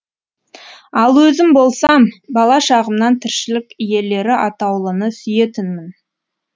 ал өзім болсам бала шағымнан тіршілік иелері атаулыны сүйетінмін